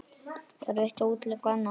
Þarf eitt að útiloka annað?